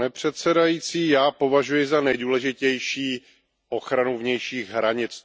Pane předsedající, já považuji za nejdůležitější ochranu vnějších hranic.